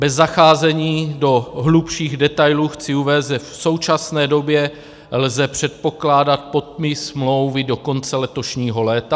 Bez zacházení do hlubších detailů chci uvést, že v současné době lze předpokládat podpis smlouvy do konce letošního léta.